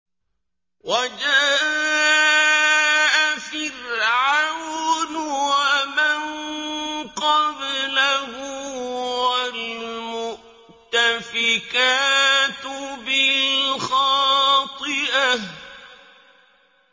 وَجَاءَ فِرْعَوْنُ وَمَن قَبْلَهُ وَالْمُؤْتَفِكَاتُ بِالْخَاطِئَةِ